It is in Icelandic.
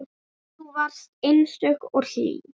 Þú varst einstök og hlý.